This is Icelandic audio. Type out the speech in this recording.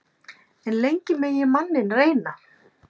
En lengi megi manninn reyna.